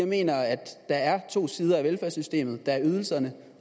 mener at der er to sider af velfærdssystemet der er ydelserne